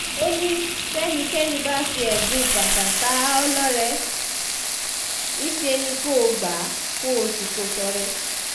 ó ní tẹ́nikẹ́ni bá fi ẹ̀bùn bàtà tá a lọ́rẹ níṣẹ́ ni kò gbà á kó sì kó o tọrẹ